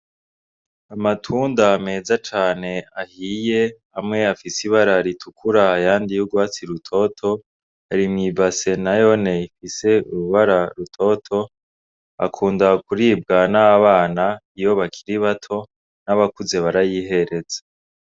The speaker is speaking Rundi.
Amatunda meza cane ahiye afise ibara ritukura ayandi y' ugwatsi rutoto ari mwi base nayone ifise ibara ritoto ikunda kuribwa n' abana iyo bakiri bato n' abakuze barayihereza.